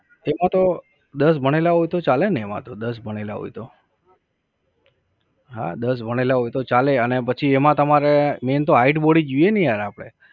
એમાં તો દસ ભણેલા હોય તો ચાલે ને એમાં તો, દસ ભણેલા હોય તો. હા દસ ભણેલા હોય તો ચાલે અને પછી એમાં તમારે main તો height body જ જોઈએ ને યાર આપડે